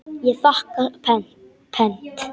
Ég þakka pent.